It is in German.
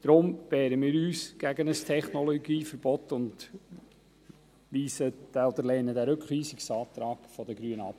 Deshalb wehren wir uns gegen ein Technologieverbot und lehnen den Rückweisungsantrag der Grünen ab.